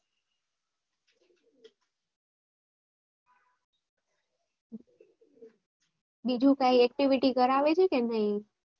બીજું કઈ activity કરાવે છે કે નઈ